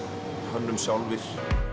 könnum sjálfir